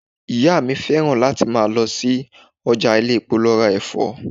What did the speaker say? Ìyá mi fẹ́ràn láti máa lọ sí ọjà ilé-epo lọ ra Ẹ̀fọ́.